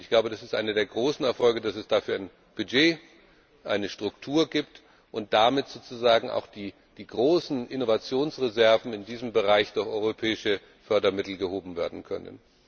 Und ich glaube, das ist einer der großen Erfolge, dass es dafür jetzt ein Budget, eine Struktur gibt und damit sozusagen auch die großen Innovationsreserven in diesem Bereich durch europäische Fördermittel erschlossen werden können.